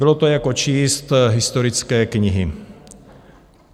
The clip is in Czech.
Bylo to jako číst historické knihy.